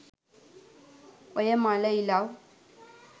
ඔය මළ ඉලව්